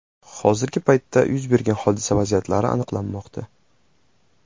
Hozirgi paytda yuz bergan hodisa vaziyatlari aniqlanmoqda.